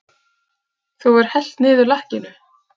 Þú hefur hellt niður lakkinu!